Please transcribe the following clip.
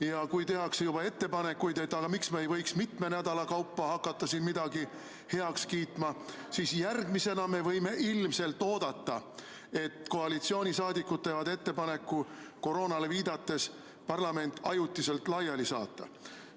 Ja kui tehakse juba ettepanekuid, et miks me ei võiks mitme nädala kaupa hakata siin midagi heaks kiitma, siis järgmisena me võime ilmselt oodata, et koalitsioonisaadikud teevad ettepaneku koroonale viidates parlament ajutiselt laiali saata.